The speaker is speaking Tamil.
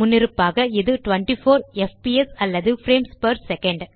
முன்னிருப்பாக இது 24 எஃப்பிஎஸ் அல்லது பிரேம்ஸ் பெர் செகண்ட்